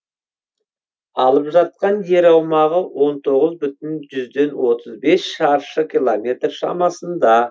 алып жатқан жер аумағы он тоғыз бүтін жүзден отыз бес шаршы километр шамасында